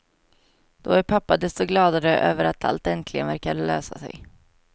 Då är pappa desto gladare över att allt äntligen verkar lösa sig.